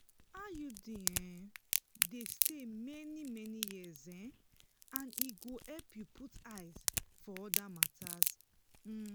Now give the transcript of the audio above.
iud dey stay um for many many years as e go um help you put um eyes for other matters.